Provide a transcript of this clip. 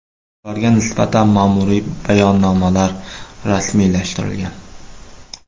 Ularga nisbatan ma’muriy bayonnomalar rasmiylashtirilgan.